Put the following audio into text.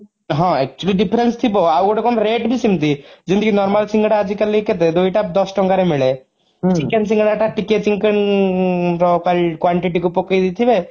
ହଁ actually difference ଥିବ ଆଉ ଗୋଟେ କଣ rate ଭି ସେମିତି ଯେମିତି କି normal ସିଙ୍ଗଡା ଆଜି କାଲି କେତେ ଦୁଇଟା ଦଶ ଟଙ୍କାର ମିଳେ chicken ସିଙ୍ଗଡା ଟା ଟିକେ ର quantity କୁ ପକେଇଦେଇଥିବେ